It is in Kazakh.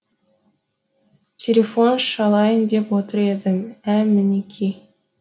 телефон шалайын деп отыр едім ә мінеки